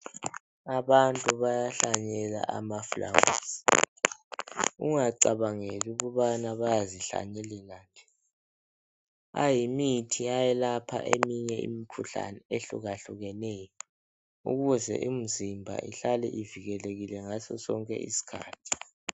Abantu bayahlanyela amafulawuzi ungacabangeli ukubana bayazihlanyelela nje ayimithi ayelapha eminye imikhuhlane ehlukahlukeneyo ukuze imzimba ihlale ivikikelekile ngaso sonke isikhathi.